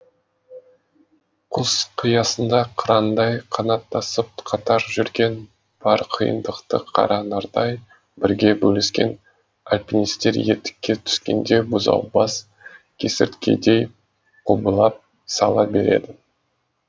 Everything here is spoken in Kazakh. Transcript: құз қиясында қырандай қанаттасып қатар жүрген бар қиындықты қара нардай бірге бөліскен альпинистер етекке түскенде бұзаубас кесірткедей құбылап сала береді